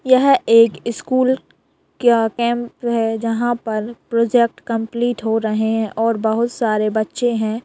यह एक स्कुल का कैंप है जहाँ पर प्रोजेक्ट कम्पलीट हो रहें हैं और बहुत सारे बच्चे हैं।